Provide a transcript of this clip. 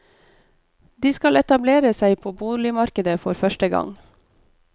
De skal etablere seg på boligmarkedet for første gang.